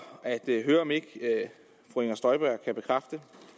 at høre om ikke fru inger støjberg kan bekræfte